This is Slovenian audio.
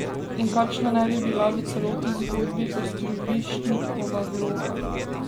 In kakšna naj bi bila v celotni zgodbi Ostrovršnikova vloga?